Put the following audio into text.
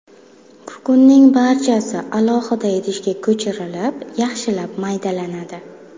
Kukunning barchasi alohida idishga ko‘chirilib, yaxshilab maydalanadi.